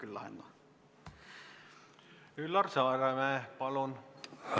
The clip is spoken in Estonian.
Üllar Saaremäe, palun!